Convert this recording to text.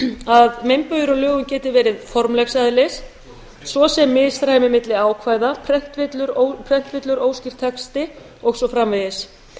að meinbugir á lögum geti verið formlegs eðlis svo sem misræmi milli ákvæða prentvillur óskýr texti og svo framvegis